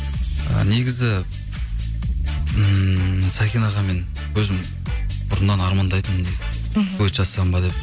ы негізі ммм сәкен ағамен өзім бұрыннан армандайтынмын мхм дуэт жазсам ба деп